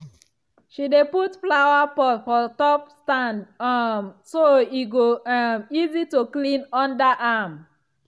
she dey put flower pot for top stand um so e go um easy to clean under am.